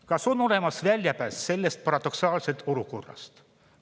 Kas on olemas väljapääs sellest paradoksaalsest olukorrast?